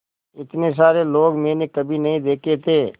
इतने सारे लोग मैंने कभी नहीं देखे थे